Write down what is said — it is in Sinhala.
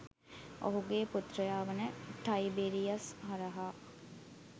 ඔහුගේ පුත්‍රයා වන ටයිබෙරියස් හරහා